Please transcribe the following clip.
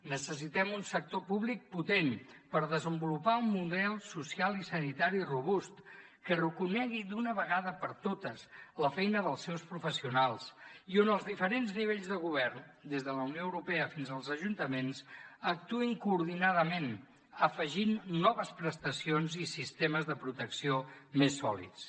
necessitem un sector públic potent per desenvolupar un model social i sanitari robust que reconegui d’una vegada per totes la feina dels seus professionals i on els diferents nivells de govern des de la unió europea fins als ajuntaments actuïn coordinadament afegint noves prestacions i sistemes de protecció més sòlids